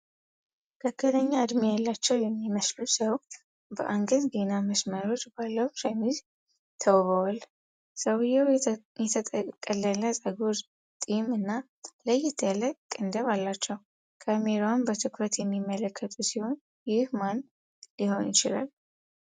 መካከለኛ እድሜ ያላቸው የሚመስሉ ሰው በአንገትጌና መስመሮች ባለው ሸሚዝ ተውበዋል። ሰውየው የተጠቀለለ ፀጉር፣ ጢም እና ለየት ያለ ቅንድብ አላቸው፤ ካሜራውን በትኩረት የሚመለከቱ ሲሆን፣ ይህ ማን ሊሆን ይችላል?